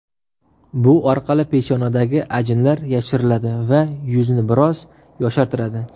Bu orqali peshonadagi ajinlar yashiriladi va yuzni biroz yoshartiradi.